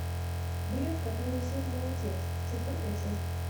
бред который несет мой отец четвертая часть